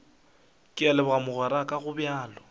ke a leboga mogweraka gobjalo